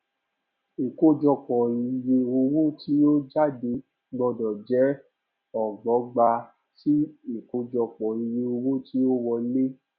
ìkójọpò iye owo ti o jade gbọdọ je ọgbọgba sí ìkójọpò iye owo ti o wole